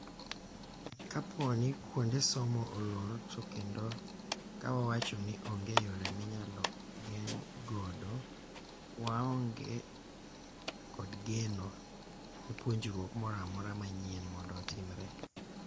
Kapooni kuonde somo olor to kendo kawawacho ni onge yore minyalo geng godo, waonge kod geno ne puonjruok mora mora manyien mond otimre.